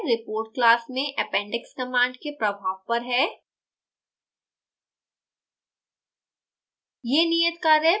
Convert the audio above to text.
यह नियत कार्य report class में appendix command के प्रभाव पर है